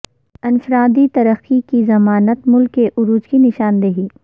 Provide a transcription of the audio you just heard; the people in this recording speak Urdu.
انفرادی ترقی کی ضمانت ملک کے عروج کی نشاندہی